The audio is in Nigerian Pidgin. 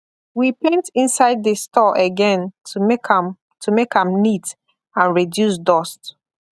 we paint inside the store again to make am to make am neat and reduce dust